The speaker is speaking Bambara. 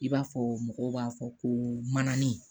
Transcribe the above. I b'a fɔ mɔgɔw b'a fɔ ko manani